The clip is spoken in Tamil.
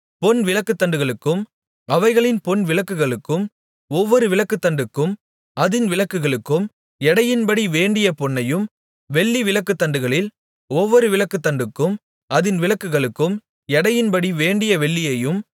பொன் விளக்குத்தண்டுகளுக்கும் அவைகளின் பொன் விளக்குகளுக்கும் ஒவ்வொரு விளக்குத்தண்டுக்கும் அதின் விளக்குகளுக்கும் எடையின்படி வேண்டிய பொன்னையும் வெள்ளி விளக்குத்தண்டுகளிள் ஒவ்வொரு விளக்குத்தண்டுக்கும் அதின் விளக்குகளுக்கும் எடையின்படி வேண்டிய வெள்ளியையும்